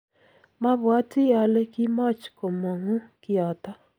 mabwatii ale kimoch komungu kiyoto.